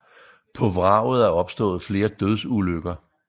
På vraget er opstået flere dødsulykker